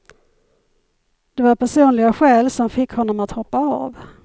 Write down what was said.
Det var personliga skäl som fick honom att hoppa av.